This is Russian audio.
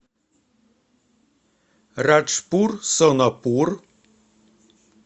раджпур сонапур